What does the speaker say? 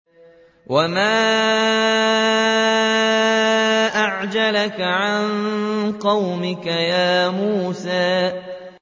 ۞ وَمَا أَعْجَلَكَ عَن قَوْمِكَ يَا مُوسَىٰ